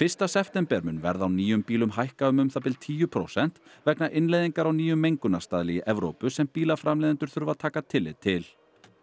fyrsta september mun verð á nýjum bílum hækka um um það bil tíu prósent vegna innleiðingar á nýjum mengunarstaðli í Evrópu sem bílaframleiðendur þurfa að taka tillit til